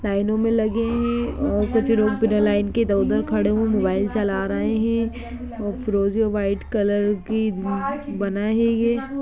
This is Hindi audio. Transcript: लाईनो में लगे हैं और कुछ लोग बिना लाईन के इधर उधर खड़े हुए हैं मोबाइल चला रहे है और और वाईट कलर की ब-बना है ये।